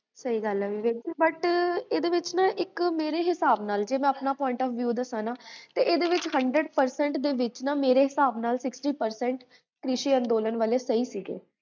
ਸ੍ਦ੍ਫ਼